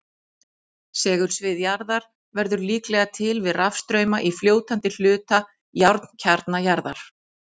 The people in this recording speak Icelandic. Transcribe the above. Segulsvið jarðar verður líklega til við rafstrauma í fljótandi hluta járnkjarna jarðar.